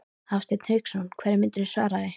Hafsteinn Hauksson: Hverju myndirðu svara því?